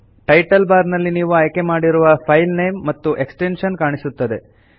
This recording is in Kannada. ಟೈಟಲ್ ಬಾರ್ ನಲ್ಲಿ ನೀವು ಆಯ್ಕೆ ಮಾಡಿರುವ ಫೈಲ್ ನೇಮ್ ಮತ್ತು ಎಕ್ಸ್ಟೆನ್ಷನ್ ಕಾಣಿಸುತ್ತದೆ